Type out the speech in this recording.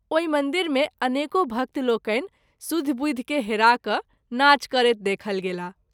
ओहि मंदिर मे अनेको भक्त लोकनि सुधि बुधि के हरा क’ नाच करैत देखल गेलाह।